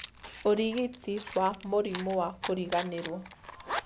ũrigiti wa mũrimũ wa kũriganĩrwo